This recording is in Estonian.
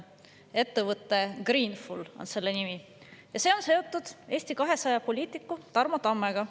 Selle ettevõtte nimi on Greenful ja see on seotud Eesti 200 poliitiku Tarmo Tammega.